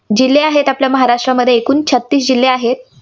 जिल्हे आहेत, महाराष्ट्रामध्ये एकूण छत्तीस जिल्हे आहेत.